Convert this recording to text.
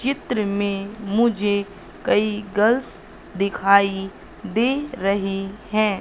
चित्र में मुझे कई गर्ल्स दिखाई दे रही हैं।